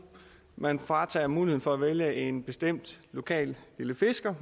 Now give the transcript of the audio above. man fratager muligheden for at vælge en bestemt lokal lille fisker